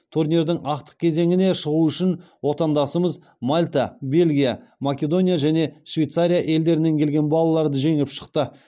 турнирдің ақтық кезеңіне шығу үшін отандасымыз мальта бельгия македония және швейцария елдерінен келген балаларды жеңіп шықты